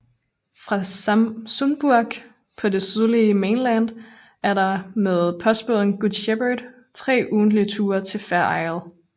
Fra Sumburgh på det sydlige Mainland er der med postbåden Good Shepherd 3 ugentlige ture til Fair Isle